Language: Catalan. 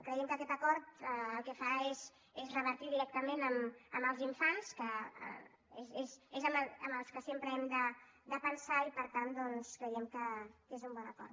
creiem que aquest acord el que fa és revertir directament en els infants que és en els que sempre hem de pensar i per tant doncs creiem que és un bon acord